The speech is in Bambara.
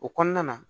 O kɔnɔna na